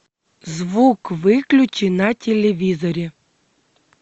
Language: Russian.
звук выключи на телевизоре